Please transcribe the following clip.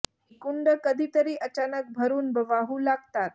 ही कुंडं कधी तरी अचानक भरून वाहू लागतात